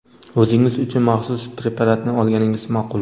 o‘zingiz uchun maxsus preparatni olganingiz ma’qul.